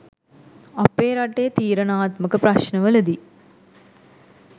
අපේ රටේ තීරණාත්මක ප්‍රශ්නවලදී